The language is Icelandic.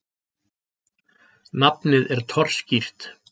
Nafnið er torskýrt.